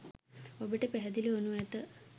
ඔබට පැහැදිලි වනු ඇත